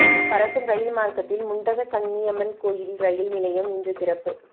பறக்கும் ரயில் மார்க்கத்தில் முண்டகக் கண்ணியம்மன் கோயில் ரயில் நிலையம் இன்று திறப்பு